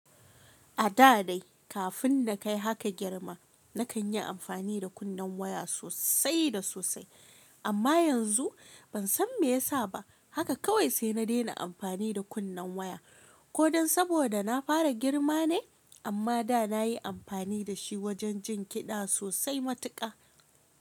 A da dai kafin na kai haka girma, na kan yi amfani da kunnen waya sosai da sosai. Amma yanzu ban san me ya sa ba, haka kawai sai na daina amfani da kunnen waya. Ko don saboda na fara girma ne? Amma da na yi amfani da shi wajen jin kiɗa sosai matuƙa.